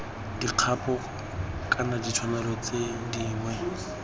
dikgapo kana ditshwanelo tse dingwe